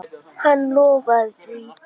Hann lofaði því.